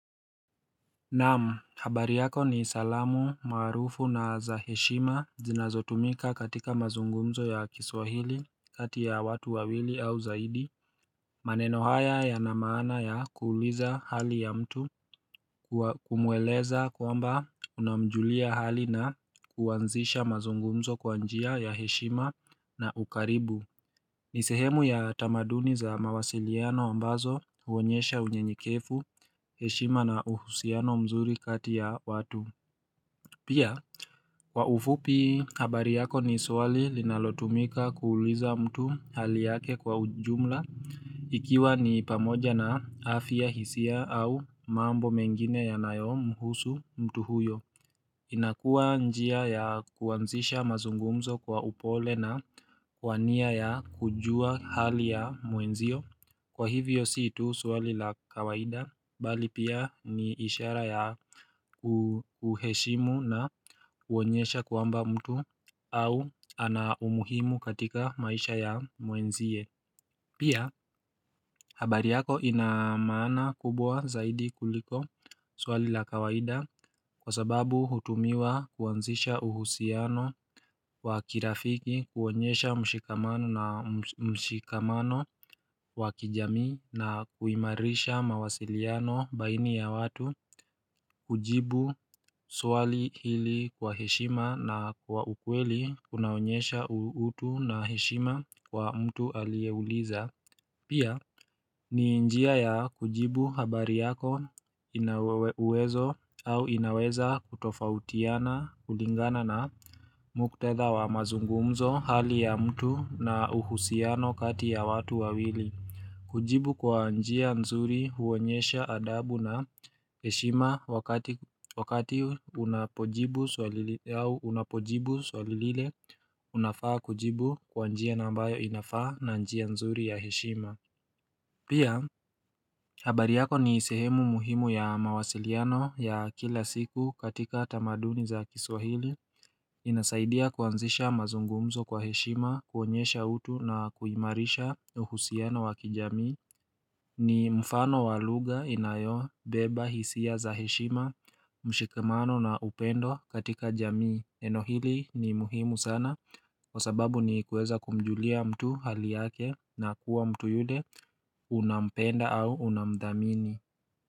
Naamu habari yako ni salamu maarufu na za heshima zinazotumika katika mazungumzo ya kiswahili kati ya watu wawili au zaidi maneno haya ya na maana ya kuuliza hali ya mtu Kumweleza kwamba unamjulia hali na kuanzisha mazungumzo kwanjia ya heshima na ukaribu nisehemu ya tamaduni za mawasiliano ambazo huonyesha unyenyekefu, heshima na uhusiano mzuri kati ya watu Pia, kwa ufupi habari yako ni swali linalotumika kuuliza mtu hali yake kwa ujumla Ikiwa ni pamoja na afya hisia au mambo mengine ya nayo mhusu mtu huyo inakua njia ya kuanzisha mazungumzo kwa upole na kwania ya kujua hali ya muenzio Kwa hivyo siitu swali la kawaida bali pia ni ishara ya kuheshimu na uonyesha kwamba mtu au ana umuhimu katika maisha ya muenzie Pia, habari yako inamana kubwa zaidi kuliko swali la kawaida kwa sababu hutumiwa kuanzisha uhusiano wa kirafiki kuonyesha mshikamano wa kijamiina kuimarisha mawasiliano baini ya watu kujibu swali hili kwa heshima na kwa ukweli kunaonyesha utu na heshima kwa mtu alieuliza Pia ni njia ya kujibu habari yako inauwezo au inaweza kutofautiana kulingana na mukhtadha wa mazungumzo hali ya mtu na uhusiano kati ya watu wawili. Kujibu kwa njia nzuri huonyesha adabu na heshima wakati unapojibu swali au unapojibu swalile unafaa kujibu kwa njia nambayo inafaa na njia nzuri ya heshima. Pia, habari yako ni sehemu muhimu ya mawasiliano ya kila siku katika tamaduni za kiswahili inasaidia kuanzisha mazungumzo kwa heshima kuonyesha utu na kuimarisha uhusiano wakijamii ni mfano walugha inayo beba hisia za heshima, mshikamano na upendo katika jamii, eno hili ni muhimu sana Kwa sababu nikuweza kumjulia mtu hali yake na kuwa mtu yule unampenda au unamdhamini.